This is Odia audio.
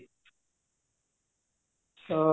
ତ